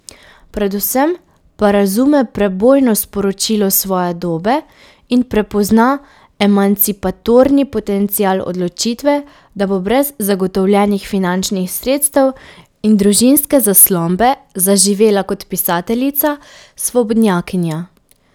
Predvsem pa razume prebojno sporočilo svoje dobe in prepozna emancipatorni potencial odločitve, da bo brez zagotovljenih finančnih sredstev in družinske zaslombe zaživela kot pisateljica, svobodnjakinja.